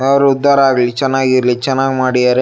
ಅವ್ರ್ ಉದ್ದಾರ ಆಗ್ಲಿ ಚೆನ್ನಾಗ್ ಇರ್ಲಿ ಚೆನ್ನಾಗ್ ಮಾಡಿದ್ದಾರೆ.